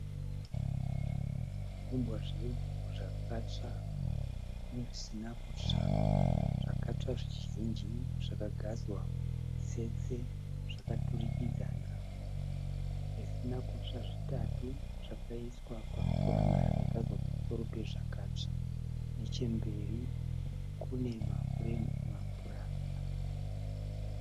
Zviumbwa zvevhu zvakatsva nezvisina kutsva. Zvakatsva zvizhinji zvakaganzwa mutsetse zvakaturikidzana. Zvisina kutsva zvitatu zvakaiswa papuranga rakagadzwa pamusoro pezvakatsva. Nechemberi kunemafuremu emapuranga.